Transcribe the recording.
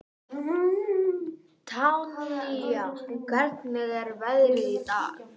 Tanía, hvernig er veðrið í dag?